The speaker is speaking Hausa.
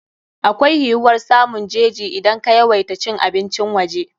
Akwai yiwuwar samun jeji idan ka yawaita cin abincin waje.